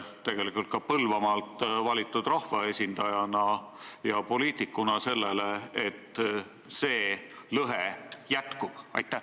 Kuidas te Põlvamaalt valitud rahvaesindajana ja poliitikuna vaatate sellele, et see lõhe jätkub?